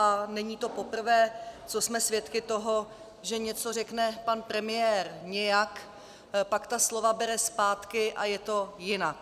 A není to poprvé, co jsme svědky toho, že něco řekne pan premiér nějak, pak ta slova bere zpátky a je to jinak.